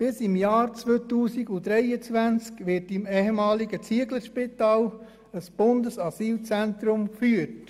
Bis im Jahr 2023 wird mit dem ehemaligen Zieglerspital ein Bundesasylzentrum geführt.